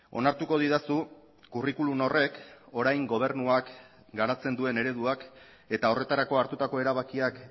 onartuko didazu curriculum horrek orain gobernuak garatzen duen ereduak eta horretarako hartutako erabakiak